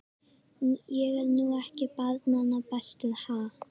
Ég er nú ekki barnanna bestur, ha.